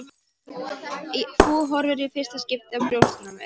Þú horfir í fyrsta skipti á brjóstin á mér.